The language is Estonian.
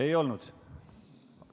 Ei olnud.